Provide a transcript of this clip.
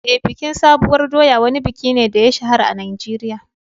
Eh, bikin sabuwar doya wani buki ne da ya shahara a Najeriya.